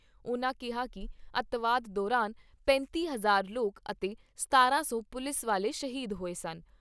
ਉਨ੍ਹਾਂ ਕਿਹਾ ਕਿ ਅੱਤਵਾਦ ਦੌਰਾਨ ਸੂਬੇ 'ਚ ਪੈਂਤੀ ਹਜ਼ਾਰ ਲੋਕ ਅਤੇ ਸਤਾਰਾਂ ਸੌ ਪੁਲਿਸ ਵਾਲੇ ਸ਼ਹੀਦ ਹੋਏ ਸਨ।